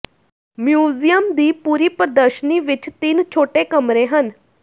museum ਦੀ ਪੂਰੀ ਪ੍ਰਦਰਸ਼ਨੀ ਵਿੱਚ ਤਿੰਨ ਛੋਟੇ ਕਮਰੇ ਹਨ